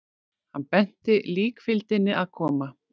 Hann benti líkfylgdinni að koma.